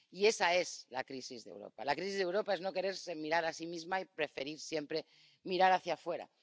Y esa es la crisis de Europa. La crisis de Europa es no quererse mirar a sí misma y preferir siempre mirar hacia afuera.